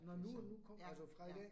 Nåh nu nu altså fra i dag?